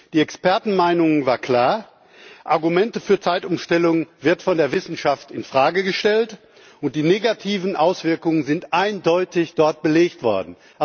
Die Expertenmeinungen waren klar Die Argumente für die Zeitumstellung werden von der Wissenschaft in Frage gestellt, und die negativen Auswirkungen sind dort eindeutig belegt worden.